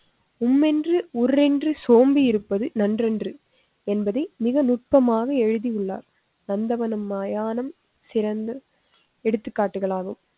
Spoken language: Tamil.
உம்மென்று உர்ரென்று சோம்பி இருப்பது நன்றன்று என்பதை மிக நுட்பமாக எழுதி உள்ளார். நந்தவனம் மயானம் சிறந்த எடுத்துக்காட்டுகள் ஆகும்.